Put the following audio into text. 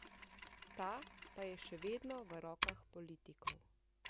Ta pa je še vedno v rokah politikov.